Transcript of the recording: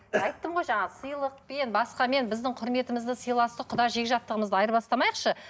айттым ғой жаңағы сыйлықпен басқамен біздің кұрметімізді сыйластық құда жекжаттығымызды айырбастамайықшы